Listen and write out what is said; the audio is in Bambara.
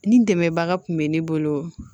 Ni dɛmɛbaga kun bɛ ne bolo